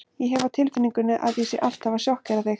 Ég hef á tilfinningunni að ég sé alltaf að sjokkera þig.